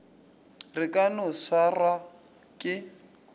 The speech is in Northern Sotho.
re ka no swarwa ke